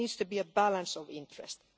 There needs to be a balance of interests.